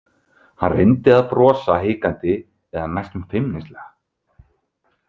Hann reyndi að brosa hikandi eða næstum feimnislega.